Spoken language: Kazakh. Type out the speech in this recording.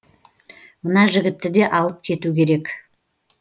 мына жігітті де алып кету керек